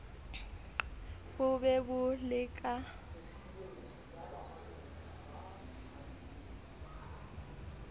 bo be bo le ka